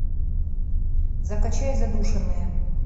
закачай задушенные